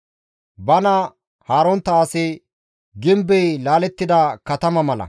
Bana haarontta asi gimbey laalettida katama mala.